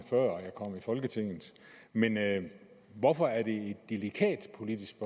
kom i folketinget men hvorfor er det et delikat politisk